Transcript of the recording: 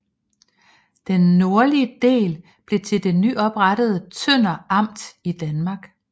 Den nordlige del blev til det nyoprettede Tønder Amt i Danmark